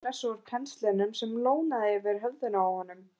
Þetta var klessa úr penslinum sem lónaði yfir höfðinu á honum!